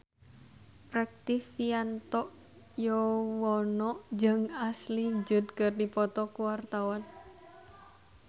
Rektivianto Yoewono jeung Ashley Judd keur dipoto ku wartawan